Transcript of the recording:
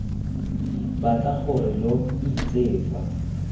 batla gore lo itse fa